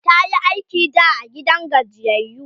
tayi aiki da a gidan gajiyayyu